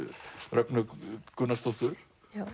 Rögnu Gunnarsdóttur